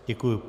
Děkuji.